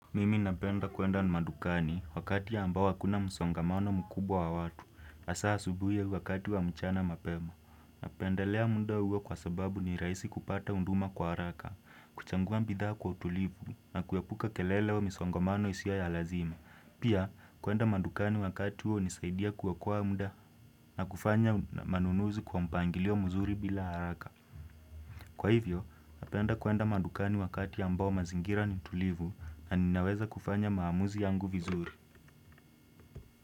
Mimi napenda kuenda madukani wakati ambao hakuna msongamano mkubwa wa watu. Hasa asubuhi au wakati wa mchana mapema. Napendelea muda huo kwa sababu ni rahisi kupata huduma kwa haraka. Kuchagua bidhaa kwa utulivu na kuepuka kelele au misongamano isiyo ya lazima. Pia, kuenda madukani wakati huo hunisaidia kuokoa muda na kufanya manunuzi kwa mpangilio mzuri bila haraka. Kwa hivyo, napenda kuenda madukani wakati ambao mazingira ni tulivu na ninaweza kufanya maamuzi yangu vizuri.